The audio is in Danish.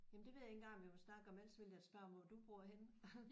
Jamen det ved jeg ikke engang om jeg vil snakke om. Ellers ville jeg spørge hvor du bor henne?